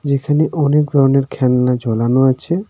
এখানে অনেক ধরনের খেলনা ঝোলানো আছে.